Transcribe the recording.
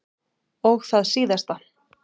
Og það síðasta.